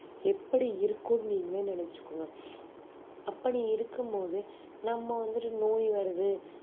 எப்படி இருக்கும் நீங்களே நினைச்சுக்கோங்க அப்படி இருக்கும்போது நம்ம வந்துட்டு நோய் வருது